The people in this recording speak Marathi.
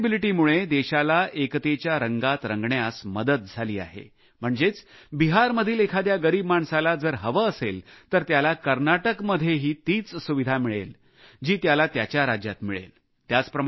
पोर्टेबिलिटीमुळे देशाला एकतेच्या रंगात मिसळण्यास मदत झाली आहे म्हणजेच बिहारमधील एखाद्या गरीब माणसाला जर हवे असेल तर त्याला कर्नाटकमध्येही तीच सुविधा मिळेल जी त्याला त्याच्या राज्यात मिळेल